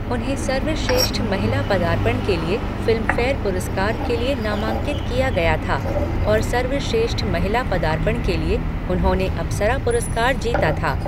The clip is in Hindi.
उन्हें सर्वश्रेष्ठ महिला पदार्पण के लिए फिल्मफेयर पुरस्कार के लिए नामांकित किया गया था और सर्वश्रेष्ठ महिला पदार्पण के लिए उन्होंने अप्सरा पुरस्कार जीता था।